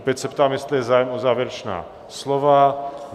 Opět se ptám, jestli je zájem o závěrečná slova?